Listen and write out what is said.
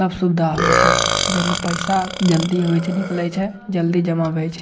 सब सुविधा होय छै जे में पैसा जल्दीए होय छै निकले छै जल्दी जमा भ होय छै।